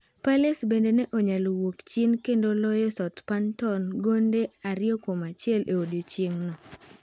Palace bende ne onyalo wuok chien kendo loyo Southhampton gonde 2-1 e odiechieng' no.